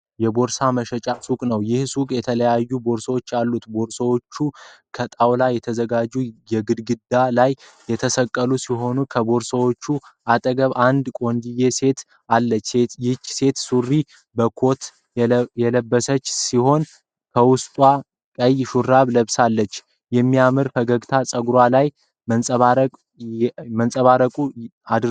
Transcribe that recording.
የቦርሳ መሸጫ ሱቅ ነው። ይህ ሱቅ የተለያዩ ቦርሳዎች አሉት። ቦርሳዎቹ ከጣውላ በተዘጋጀ ግድግዳ ላይ የተሰቀሉ ሲሆን ከበርሳዎቹ አጠገብ አንድ ቆንጅየ ሴት አለች። ይች ሴት ሱሪ በኮት የለቀሰች ሲሆን ከውስጥ ቀይ ሹራብ ለብሳለች። በሚያምር ፈገግታ ፀጉራ ላይ መነፀሯን አድርገዋለች።